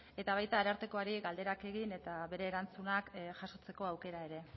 baita arartekoari galderak egin eta bere erantzunak jasotzeko aukera ere